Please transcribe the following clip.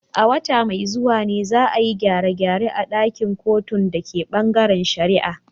A wata mai zuwa ne, za a yi gyare-gyare a ɗakin kotun da ke bangaren shari’a.